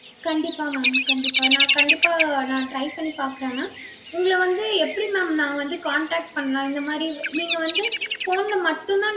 கண்டிப்பா mam கண்டிப்பா நான் கண்டிப்பா நான் try பண்ணி பார்க்கிறேன் mam. உங்கள வந்து எப்படி mam நான் வந்து contact பண்ணலாம். இந்த மாதிரி இவ்~ நீங்க வந்து phone ல மட்டும்தான்